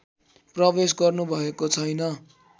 प्रवेश गर्नुभएको छैन